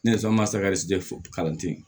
Nesonsanje kalan tɛ ye